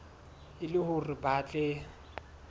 e le hore ba tle